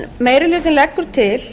meiri hlutinn leggur til